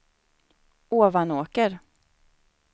Ovanåker